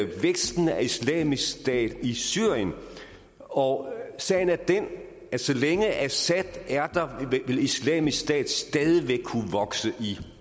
væksten af islamisk stat i syrien og sagen er den at så længe assad er der vil islamisk stat stadig væk kunne vokse i